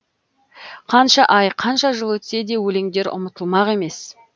қанша ай қанша жыл өтсе де өлеңдер ұмытылмақ емес